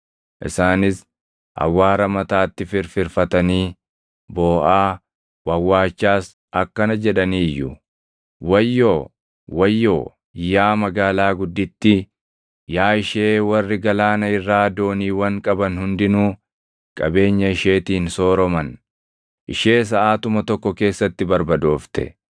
Isaanis awwaara mataatti firfirfatanii booʼaa, wawwaachaas akkana jedhanii iyyu: “ ‘Wayyoo! Wayyoo, yaa magaalaa guddittii, yaa ishee warri galaana irraa dooniiwwan qaban hundinuu qabeenya isheetiin sooroman! Ishee saʼaatuma tokko keessatti barbadoofte!’